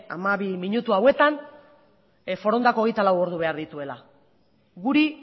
hamabi minutu honetan forondak hogeita lau ordu behar dituela guri